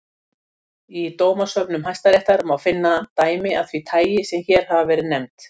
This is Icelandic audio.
Í dómasöfnum hæstaréttar má finna dæmi af því tagi sem hér hafa verið nefnd.